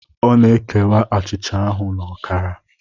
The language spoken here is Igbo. Ọ na-ekewa achịcha ahụ na ọkara.